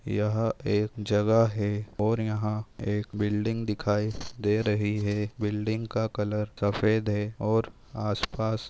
यहाँ एक जगह है और यहाँ एक बिल्डिंग दिखाई दे रही है बिल्डिंग का कलर सफ़ेद है और आस पास--